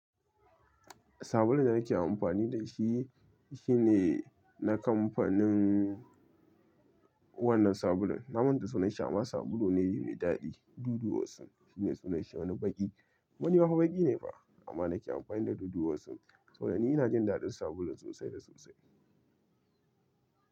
Sabulun da nake amfani da shi, shine na kamfanin wannan sabulun. Na manta da sunanshi amma sabulu ne mai daɗi. Dudu osun shine sunanshi, wani baƙi. Kuma ni fa baƙi ne fa, amma nake amfani da dudu osun. Sabo da ni ina jin daɗin sabulun sosai da sosai.